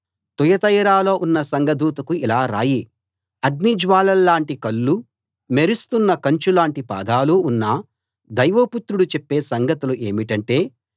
తుయతైరలో ఉన్న సంఘదూతకు ఇలా రాయి అగ్నిజ్వాలల్లాటి కళ్ళూ మెరుస్తున్న కంచు లాంటి పాదాలూ ఉన్న దైవ పుత్రుడు చెప్పే సంగతులు ఏమిటంటే